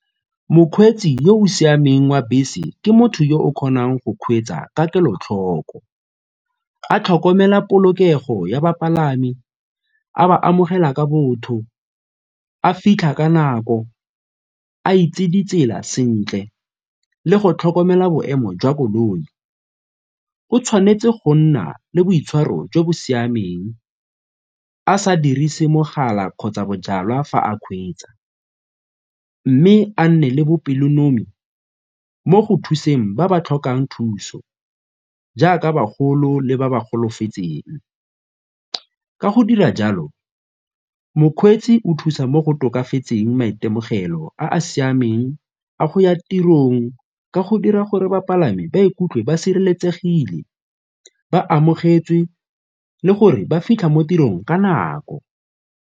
Mokgweetsi yo o siameng wa bese ke motho yo o kgonang go kgweetsa ka kelotlhoko a tlhokomela polokego ya bapalami, a ba amogela ka botho, a fitlha ka nako, a itse di tsela sentle le go tlhokomela boemo jwa koloi. O tshwanetse go nna le boitshwaro jo bo siameng a sa dirise mogala kgotsa bojalwa fa a kgweetsa mme a nne le bopelonomi mo go thuseng ba ba tlhokang thuso jaaka bagolo le ba ba golofetseng. Ka go dira jalo, mokgweetsi o thusa mo go tokafatseng maitemogelo a a siameng a go ya tirong ka go dira gore bapalami ba ikutlwe ba sireletsegile, ba amogetswe le gore ba fitlha mo tirong ka nako.